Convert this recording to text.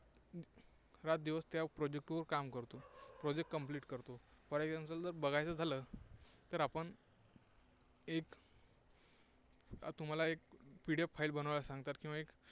रातदिवस त्या project वर काम करतो. project complete करतो. for example बघायचं झालं तर आपण एक तुम्हाला एक PDFFile बनवायला सांगतात.